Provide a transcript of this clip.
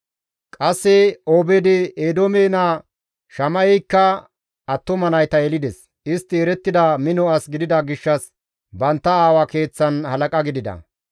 Qasse Obeed-Eedoome naa Shama7eykka attuma nayta yelides; istti erettida mino as gidida gishshas bantta aawa keeththan halaqa gidida.